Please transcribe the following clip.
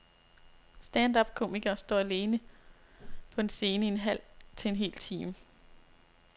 Stand up-komikere står alene på en scene i en halv til en hel time.